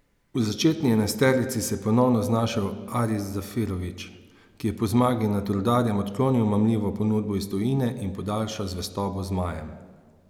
V začetni enajsterici se je ponovno znašel Aris Zarifović, ki je po zmagi nad Rudarjem odklonil mamljivo ponudbo iz tujine in podaljšal zvestobo zmajem.